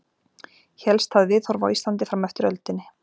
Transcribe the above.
Hélst það viðhorf á Íslandi fram eftir öldinni.